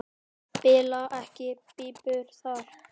Bila ekki pípur þar.